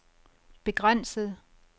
begrænset